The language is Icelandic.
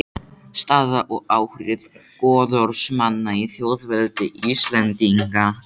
Staða og áhrif goðorðsmanna í þjóðveldi Íslendinga.